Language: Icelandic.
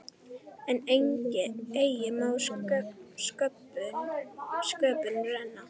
En eigi má sköpum renna.